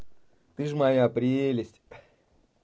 ты же моя прелесть